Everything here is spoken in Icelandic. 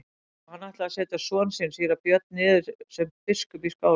Og hann ætlar að setja son sinn síra Björn niður sem biskup í Skálholti.